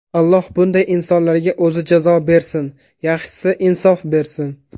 Alloh bunday insonlarga o‘zi jazo bersin, yaxshisi, insof bersin”.